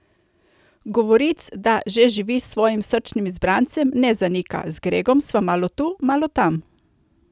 Govoric, da že živi s svojim srčnim izbrancem, ne zanika: "Z Gregom sva malo tu, malo tam.